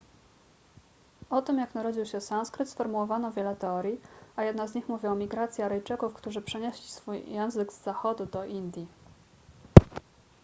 o tym jak narodził się sanskryt sformułowano wiele teorii a jedna z nich mówi o migracji aryjczyków którzy przynieśli swój język z zachodu do indii